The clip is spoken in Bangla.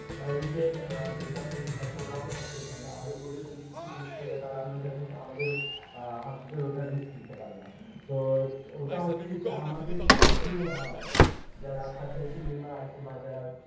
রুগের যেটা আছে ওরাও থাকে এখানে আর ওদের যদি কিছু হয়ে যায় আমাদেরও অ্যাঁ ওটা নিতে পারে না তো ওটা হচ্ছে কি আমাদের কিছু অ্যাঁ যারা আছে বাজার